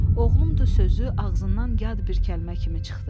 Oğlumdur sözü ağzından yad bir kəlmə kimi çıxdı.